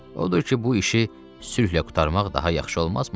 Odur ki, bu işi sülhlə qurtarmaq daha yaxşı olmazmı?”